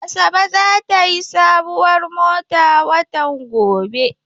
Asabe za ta yi sabuwar mota watan gobe.